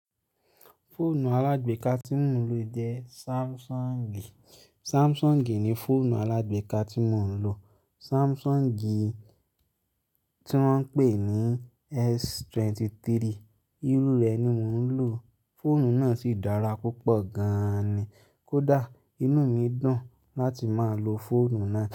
Fóònù alágbeeka tí mò ń lò jẹ́ Samsung. Samsung ni fọ́ònù alágbeeka tí mò ń lò. Samsung tí wọ́n ń pè ní S23. Irú rẹ̀ ni mò ń lò. Fóònù náà sì dára púpọ̀ gan ni. Kódà inú mi dùn láti máa lo fóònù náà.